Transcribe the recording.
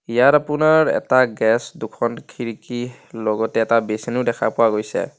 ইয়াত আপোনাৰ এটা গেছ দুখন খিৰিকী লগতে এটা বেচিন ও দেখা পোৱা গৈছে.